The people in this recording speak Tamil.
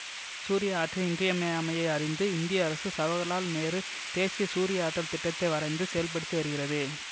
சூரிய ஆற்றலின் இன்றியமையாமையை அறிந்து இந்திய அரசு சவகர்லால் நேரு தேசிய சூரியாற்றல் திட்டத்தை வரைந்து செயல்படுத்தி வருகிறது